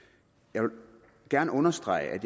jeg vil gerne understrege